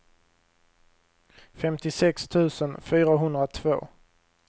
femtiosex tusen fyrahundratvå